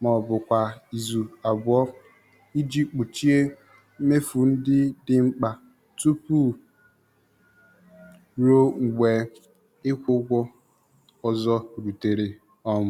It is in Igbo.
ma ọ bụ kwa izu abụọ iji kpuchie mmefu ndị dị mkpa tupu ruo mgbe ịkwụ ụgwọ ọzọ rutere. um